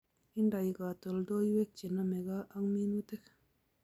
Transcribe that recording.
Indoi katoldoloiwek che nomegei ak minutik